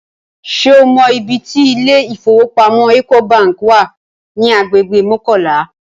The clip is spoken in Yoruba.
Ṣé o mọ ibi tí ilé ìfowópamọ́ Ecobank wà ní agbègbè Mọ́kọ́lá?